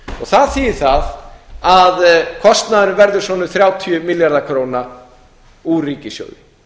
það þýðir það að kostnaðurinn verður svona um þrjátíu milljarðar króna úr ríkissjóði